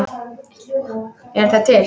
Eru þær til?